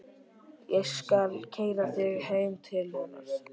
Ég skal keyra þig heim til hennar.